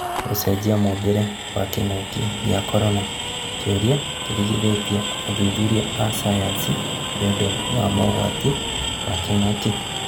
Gũcenjia mũmbĩre nĩ kĩng'oki gĩa korona: kĩuria kirigithĩtie athuthuria a sayansi nĩũndũ wa mogwati za kĩng'oki